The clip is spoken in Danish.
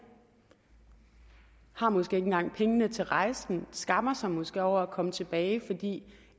har måske ikke engang pengene til rejsen skammer sig måske over at komme tilbage fordi